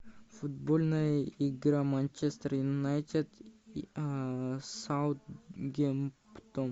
футбольная игра манчестер юнайтед и саутгемптон